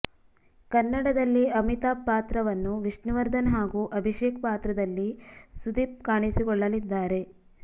ಕನ್ನಡದಲ್ಲಿ ಅಮಿತಾಬ್ ಪಾತ್ರವನ್ನು ವಿಷ್ಣುವರ್ಧನ್ ಹಾಗೂ ಅಭಿಷೇಕ್ ಪಾತ್ರದಲ್ಲಿ ಸುದೀಪ್ ಕಾಣಿಸಿಕೊಳ್ಳಲಿದ್ದಾರೆ